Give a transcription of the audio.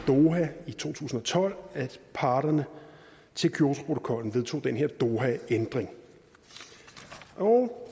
doha i to tusind og tolv at parterne til kyotoprotokollen vedtog den her dohaændring